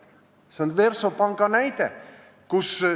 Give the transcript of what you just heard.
See on see Versobanki näide.